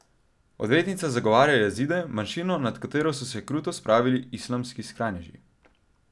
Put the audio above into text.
Odvetnica zagovarja Jazide, manjšino, nad katero so se kruto spravili islamski skrajneži.